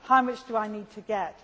now? How much do I need to